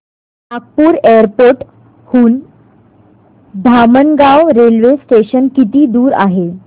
Nagpur airport हून Dhamangaon railway station किती दूर आहे